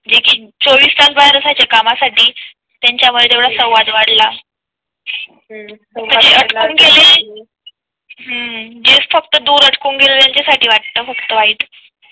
देखील. चोवीस तास बाहेर असायचे कामासाठी त्यांच्या मुळे संवाद वाढला . हम्म म्हणजे फक्त अटकून गेले जे फक्त अटकून गेले त्यांच्या साठी वाटतं फक्त वाईट